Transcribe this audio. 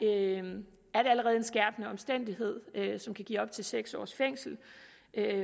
er en skærpende omstændighed som kan give op til seks års fængsel